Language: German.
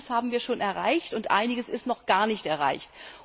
Einiges haben wir schon erreicht, und einiges ist noch gar nicht erreicht.